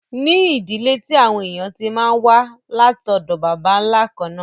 ní ìdílé tí àwọn èèyàn tí máa n wá látọ̀dọ̀ bàbá nla kànnà